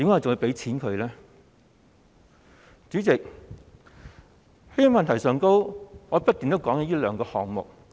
主席，在這些問題上，我不斷提到這兩個項目。